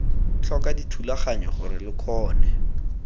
tlhoka dithulaganyo gore lo kgone